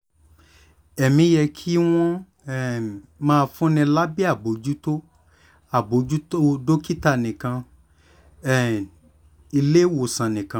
ẹ̀mí yẹ kí wọ́n um máa fúnni lábẹ́ àbójútó àbójútó dókítà ní um ilé ìwòsàn nìkan